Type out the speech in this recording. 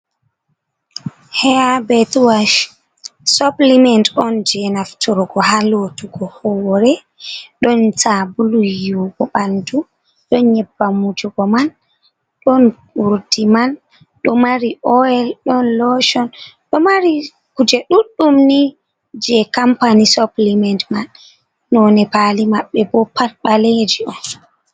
Haabe tuwash, "suplement" on jey naftorgo haa lootugo hoore, ɗon saabulu yiiwugo ɓanndu, don nyebbam wujugo man, ɗon uurdi man. Ɗo mari "oil" ɗon "lotion" ɗo mar kuje ɗuɗdum ni jey "company suplement" man, noone paali maɓɓe bo pat ɓaleeji on.